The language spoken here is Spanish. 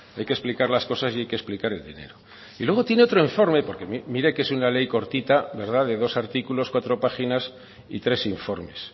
hay que explicar las cosas y hay que explicar el dinero y luego tiene otro informe porque mire que es una ley cortita de dos artículos cuatro páginas y tres informes